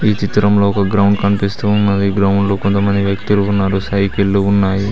ఈ చిత్రంలో ఒక గ్రౌండ్ కనిపిస్తూ ఉన్నది గ్రౌండ్ లో కొంత మంది వ్యక్తులు ఉన్నారు సైకిలు ఉన్నాయి.